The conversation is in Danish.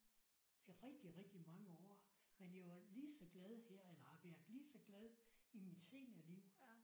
I rigtig rigtig mange år men jeg var lige så glad her eller har været lige så glad i mit senere liv